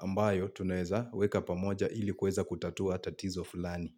ambayo tunaeza weka pamoja ili kueza kutatua tatizo fulani.